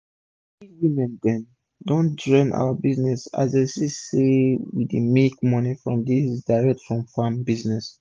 plenty woman dem don join our group as dem see say we dey make moni from dis direct from farm business